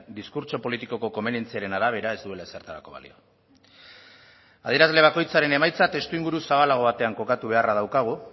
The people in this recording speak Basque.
diskurtso politikoko komenientziaren arabera ez duela ezertarako balio adierazle bakoitzaren emaitza testuinguru zabalago batean kokatu beharra daukagu